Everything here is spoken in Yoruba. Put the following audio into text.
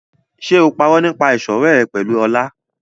Ṣé o parọ́ nípa ìṣọ̀rẹ́ ẹ pẹ̀lú Ọlá?